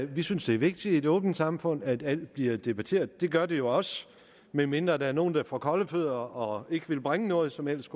vi synes det er vigtigt i et åbnet samfund at alt blive debatteret det gør det jo også medmindre der er nogen der får kolde fødder og ikke vil bringe noget som helst